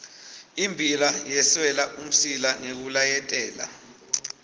immbila yeswela umsila ngekulayetela